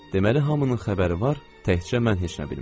Deməli hamının xəbəri var, təkcə mən heç nə bilmirəm.